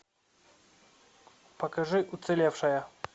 покажи уцелевшая